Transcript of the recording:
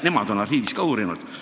Nemad on arhiivis ka materjale uurinud.